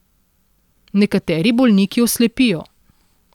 Nekateri bolniki oslepijo.